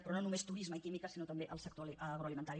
però no només turisme i química sinó també el sector agroalimentari